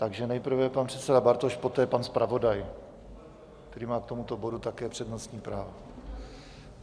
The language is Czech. Takže nejprve pan předseda Bartoš, poté pan zpravodaj, který má k tomuto bodu také přednostní právo.